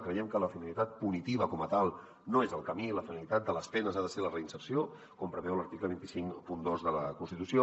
creiem que la finalitat punitiva com a tal no és el camí la finalitat de les penes ha de ser la reinserció com preveu l’article dos cents i cinquanta dos de la constitució